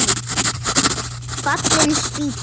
Fallin spýta!